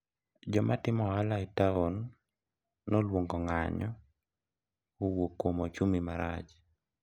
wenye wanafanya biashara mjini waliita mgomo kutokana na uchumi mbaya